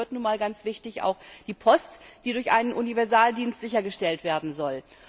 Und dazu gehört nun mal ganz wichtig die Post, die durch einen Universaldienst sichergestellt werden soll.